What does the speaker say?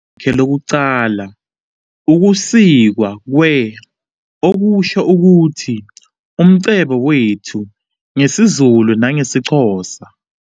Igama lakhe lokuqala ukusikwa kwe-, okusho ukuthi "umcebo wethu" ngesiZulu nangesiXhosa.